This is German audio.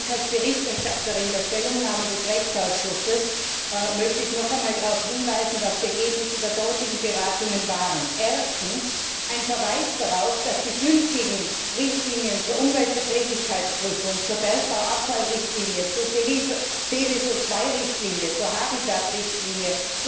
Als Verfasserin der Stellungnahme des Rechtsausschusses möchte ich noch einmal darauf hinweisen, was die Ergebnisse der dortigen Beratungen waren Erstens ein Verweis darauf, dass die bestehenden Richtlinien zur Umweltverträglichkeitsprüfung, zur Bergbauabfallrichtlinie, zur Seveso II Richtlinie, zur Habitat Richtlinie